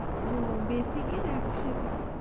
ও basic এর একসাথে দিতে